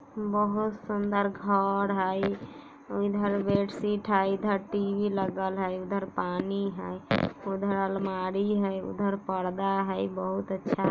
बहुत सुंदर घर है ये इधर बेडशीट है इधर टी.वी लगल है इधर पानी है उधर अलमारी है उधर परदा है बहुत अच्छा।